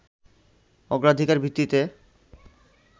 অগ্রাধিকার ভিত্তিতে